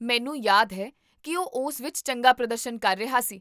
ਮੈਨੂੰ ਯਾਦ ਹੈ ਕੀ ਉਹ ਉਸ ਵਿੱਚ ਚੰਗਾ ਪ੍ਰਦਰਸ਼ਨ ਕਰ ਰਿਹਾ ਸੀ